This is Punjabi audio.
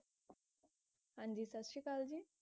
ਹਾਂਜੀ ਸਤ ਸ਼੍ਰੀ ਅਕਾਲ ਜੀ